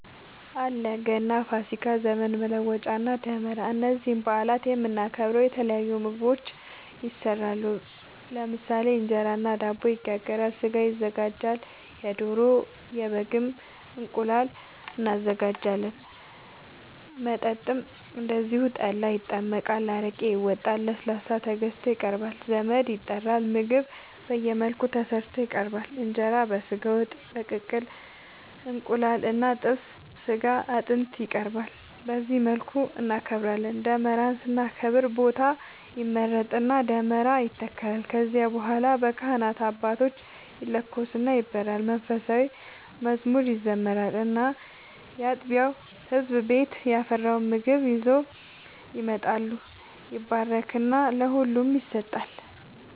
አለ ገና፣ ፋሲካ፣ ዘመን መለወጫ እና ደመራ እነዚህን በአላት የምናከብረው የተለያዩ ምግቦች ይሰራሉ ለምሳሌ እንጀራ እና ዳቦ ይጋገራል፣ ስጋ ይዘጋጃል የዶሮ፣ የበግም፣ እንቁላል እናዘጋጃለን። መጠጥም እንደዚሁ ጠላ ይጠመቃል፣ አረቄ ይወጣል፣ ለስላሳ ተገዝቶ ይቀርባል ዘመድ ይጠራል ምግብ በየመልኩ ተሰርቶ ይቀርባል እንጀራ በስጋ ወጥ፣ በቅቅል እንቁላል እና ጥብስ ስጋ አጥንት ይቀርባል በዚህ መልኩ እናከብራለን። ደመራን ስናከብር ቦታ ይመረጥና ደመራ ይተከላል ከዚያ በኋላ በካህናት አባቶች ይለኮስና ይበራል መንፉሳዊ መዝሙር ይዘመራል እና ያጥቢያው ህዝብ ቤት ያፈራውን ምግብ ይዘው ይመጣሉ ይባረክና ለሁሉም ይሰጣል።